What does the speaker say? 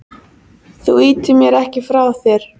Þú ýtir mér ekki frá þér.